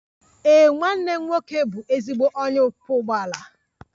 Ee, nwanne m nwoke bụ ezigbo onye ọkwọ ụgbọala.